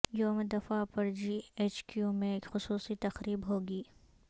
یوم دفاع پرجی ایچ کیو میں خصوصی تقریب ہوگی